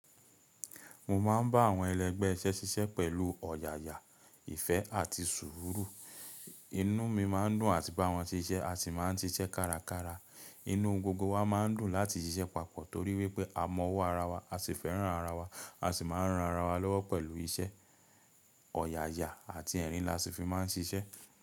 Mo máa ń bá àwọn ẹlẹgbẹ́ iṣẹ́ ṣíṣe pẹ̀lú ọ̀yààyà, ìfẹ́ àti sùúrù. Inú mi máa ń dùn àti bá wọn ṣiṣẹ́ a sì máa ń ṣiṣẹ́ kárakára. Inú gbogbo wa máa ń dùn láti ṣiṣẹ́ papọ̀ torí wípé a mọ ọwọ́ ara wa, a sì fẹ́ràn ara wa, a sì máa ń ran ara wa lọ́wọ́ pẹ̀lú iṣẹ́, ọ̀yààyà àti ẹ̀rín la sì fi máa ń ṣiṣẹ́.